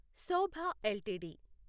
Shobha LTD